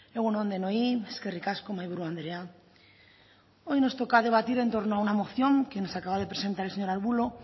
egun on denoi eskerrik asko mahaiburu andrea hoy nos toca debatir en torno a una moción que nos acaba de presentar el señor arbulo